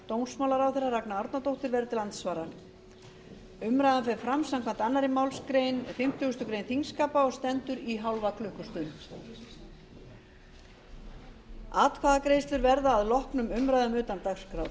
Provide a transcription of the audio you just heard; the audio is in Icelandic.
dómsmálaráðherra ragna árnadóttir verður til andsvara umræðan fer fram samkvæmt annarri málsgrein fimmtugustu grein þingskapa og stendur í hálfa klukkustund atkvæðagreiðslur verða að loknum umræðum utan dagskrár